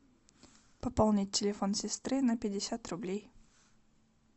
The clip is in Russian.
пополнить телефон сестры на пятьдесят рублей